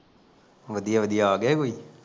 ਵਧੀਆ ਵਧੀਆ ਆਗਿਆ ਕੋਈ